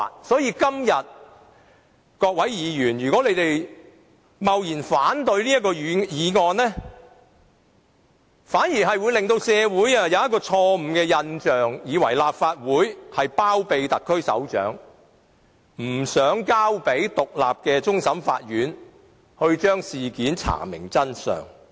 所以，如果各位議員今天貿然反對這項議案，反而會令社會產生錯誤的印象，以為立法會包庇特區首長，不想交由獨立的終審法院查明事件的真相。